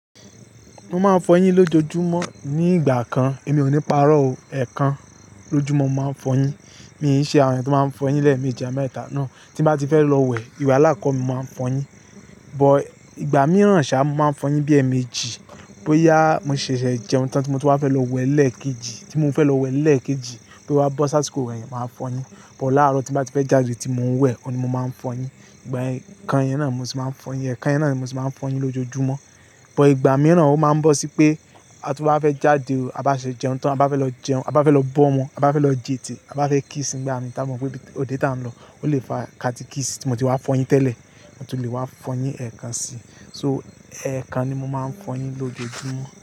Mo máa ń fọyín lójoojúmọ́ ní ìgbà kan, èmi ò ní párọ̀ o, ẹ̀ẹ̀kan lójúmọ́ mo máa ń fọyín. Mi ò ní ṣe àwọn ẹni tó máa ń fọyín lẹ́ẹ̀mejì àmẹ́ta náà, tí mo bá ti fẹ́ lọ wẹ̀, ìwà alákọ mi máa ń fọyín. But ìgbà mìíràn ṣá, mo máa ń fọyín bí ẹ́ẹ̀ẹ̀mejì. Bo yá mo ṣẹ̀ṣẹ̀ jẹun tán tí mo bá fẹ́ lọ wẹ̀ lẹ́ẹ̀kejì, tí mo fẹ́ lọ wẹ̀ lẹ́ẹ̀kejì, bí ó bá bọ́ sáà tí kò rẹ́, mo máa ń fọyín. But láàárọ̀ tí mo bá ti fẹ́ jáde tí mo ń wẹ̀, ọ̀ ni mo máa ń fọyín. Ìgbà ẹ̀ẹ̀kan yẹn náà ni mo sì máa ń fọyín, ẹ̀ẹ̀kan yẹn náà ni mo sì máa ń fọyín lójoojúmọ́. But ìgbà mìíràn ó máa ń bọ́ sí pé, tí mo bá fẹ́ jáde o, a bá ṣe jẹun tán, a bá fẹ́ lọ jẹun, a bá fẹ́ lọ bọ́ wọn, a bá fẹ́ lọ jètè, a bá fẹ́ kíìsì nígbà ni táa mọ̀ pé òde tá a ń lọ, ó lè fa ka ti kíìsì tí mo ti wá fọyín tẹ́lẹ̀, mo sì lè wá fọyín ẹ̀ẹ̀kan síi. So ẹ̀ẹ̀kan ni mo máa ń fọyín lójoojúmọ́.